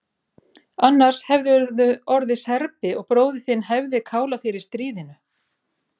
Annars hefðirðu orðið Serbi og bróðir þinn hefði kálað þér í stríðinu.